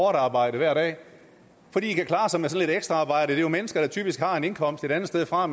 arbejde hver dag fordi de kan klare sig med sådan lidt ekstra arbejde det er jo mennesker der typisk har en indkomst et andet sted fra og